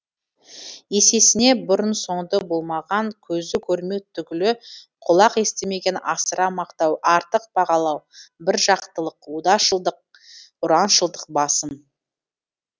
есесіне бұрын соңды болмаған көзі көрмек түгілі құлақ естімеген асыра мақтау артық бағалау біржақтылық одашылдық ұраншылдық басым